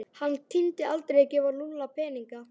Hann tímdi aldrei að gefa Lúlla peninga.